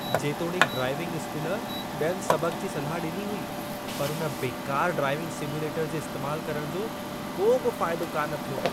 जेतोणीकि driving school ॿियनि सबक़ जी सलाह ॾिनी हुई, पर उन बेकारु ड्राइविंग सिम्युलेटरु जे इस्तेमालु करण जो को बि फ़ाइदो कान थियो।